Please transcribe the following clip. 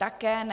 Také ne.